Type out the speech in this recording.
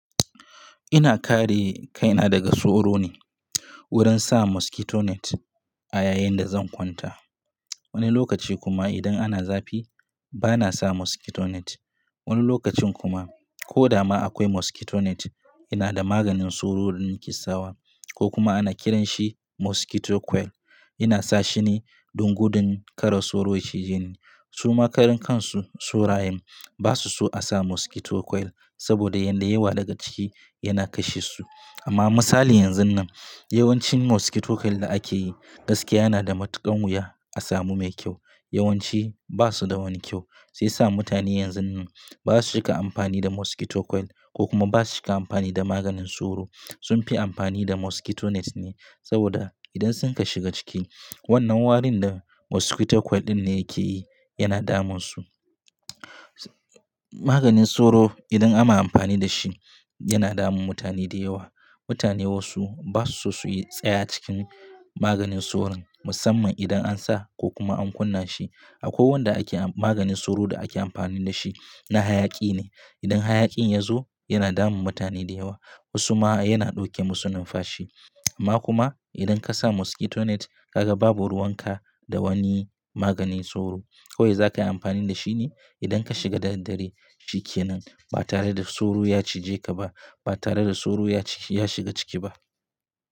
Ina kare kaina daga soro ne wurin sa mosquito net a yayin da zan kwanta. Wani lokaci kuma idan ana zafi bana sa mosquito net. Wani lokacin kuma ko da ma akwai mosquito net, ina da maganin soro da nake sawa ko kuma ana kiranshi mosquito coil. Ina sa shi ne don gudun kara soro ya cije ni. Suma karan kansu Surayem ba su so a sa mosquito coil saboda yanda yawa daga ciki yana kashe su. Amma misali yanzun nan, yawancin mosquito coil da ake yi gaskiya na da matukan wuya a samu mai kyau. Yawanci ba su da wani kyau, sai sa mutane yanzun nan ba su cika amfani da mosquito coil ko kuma ba su cika amfani da maganin soro. Sun fi amfani da mosquito net ne saboda idan sun ka shiga ciki, wannan warin da mosquito coil din ne yake yi yana damun su. Maganin soro idan ana amfani da shi, yana damun mutane da yawa. Mutane wasu ba su so su yi tsaya cikin maganin soron musamman idan an sa ko kuma an kunna shi. Ako wanda ake-- maganin soro da ake amfani da shi na hayaƙi ne. Idan hayaƙin ya zo yana damun mutane da yawa. Wasu ma yana ɗauke musu numfashi. Amma kuma idan ka sa mosquito net, ka ga babu ruwanka da wani maganin soro. Kowai zakayi amfani da shi ne idan ka shiga da daddare. Shikenan ba tare da soro ya cije ka ba, ba tare da soro ya shiga ciki ba.